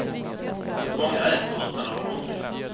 Många äter utan att vara hungriga.